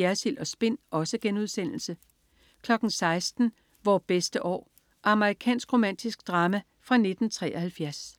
Jersild & Spin* 16.00 Vore bedste år. Amerikansk romantisk drama fra 1973